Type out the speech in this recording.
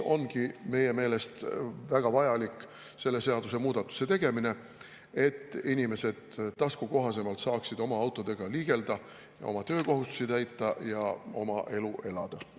Meie meelest on väga vajalik selle seadusemuudatuse tegemine, et inimesed saaksid taskukohasemalt oma autodega liigelda, oma töökohustusi täita ja oma elu elada.